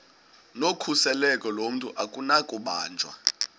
nokhuseleko lomntu akunakubanjwa